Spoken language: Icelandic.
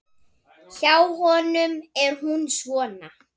Hjá honum er hún svona